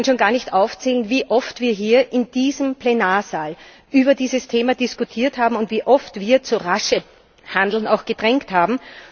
Ich kann schon gar nicht mehr aufzählen, wie oft wir hier in diesem Plenarsaal über dieses Thema diskutiert haben und wie oft wir auch zu raschem Handeln gedrängt haben.